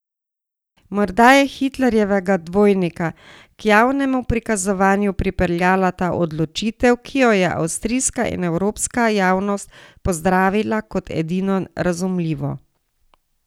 Morda je Hitlerjevega dvojnika k javnemu prikazovanju pripeljala ta odločitev, ki jo je avstrijska in evropska javnost pozdravila kot edino razumljivo.